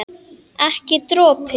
Ekki dropi.